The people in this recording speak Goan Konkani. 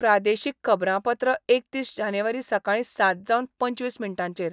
प्रादेशीक खबरांपत्र एकतीस जानेवारी सकाळी सात जावन पंचवीस मिनटांचेर